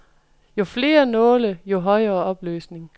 Jo flere nåle, jo højere opløsning.